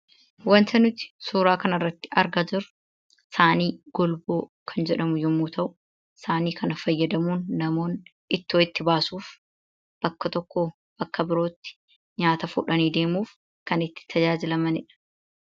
Waanta nuti suuraa kana irratti argaa jirru, saayinii golboo jedhamu yemmuu ta'u, saayinii kana fayyadamuun namoonni ittoo itti baasuuf bakka tokkoo bakka biraatti nyaata itti geessuuf kan itti tajaajilamanidha.